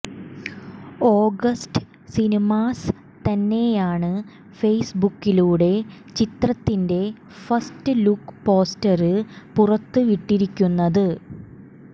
August Cinemas തന്നെയാണ് ഫെസ്ബുക്കിലൂടെ ചിത്രത്തിന്റെ ഫസ്റ്റ് ലുക്ക് പോസ്റ്റര് പുറത്തുവിട്ടിരിക്കുന്നത്